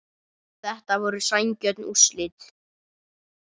Þetta voru sanngjörn úrslit